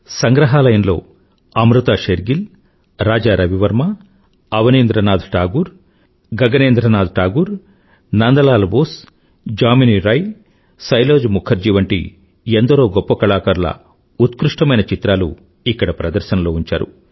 సంగ్రహాలయంలో Amrita Shergil Raja Ravi Varma Abanindranath Tagore Gaganendranath Tagore Nandalal Bose Jamini Roy Sailoz Mukherjee వంటి ఎందరో గొప్ప కళాకారుల ఉత్కృష్టమైన చిత్రాలు ఇక్కడ ప్రదర్శనలో ఉంచారు